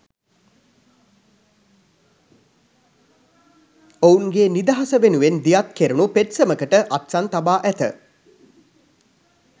ඔවුන්ගේ නිදහස වෙනුවෙන් දියත් කැරුණු පෙත්සමකට අත්සන් තබා ඇත.